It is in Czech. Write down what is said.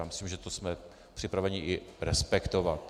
Já myslím, že to jsme připraveni i respektovat.